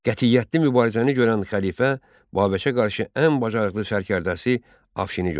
Qətiyyətli mübarizəni görən xəlifə Babəkə qarşı ən bacarıqlı sərkərdəsi Afşini göndərdi.